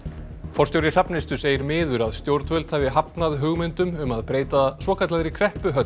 forstjóri Hrafnistu segir miður að stjórnvöld hafi hafnað hugmyndum um að breyta svokallaðri